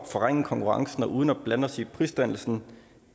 forringe konkurrencen og uden at blande os i prisdannelsen